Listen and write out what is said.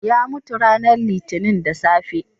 Ya mutu ranar Litinin da safe.